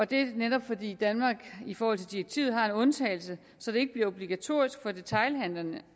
det er netop fordi danmark i forhold til direktivet har en undtagelse så det ikke bliver obligatorisk for detailhandlende